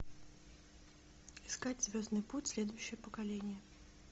искать звездный путь следующее поколение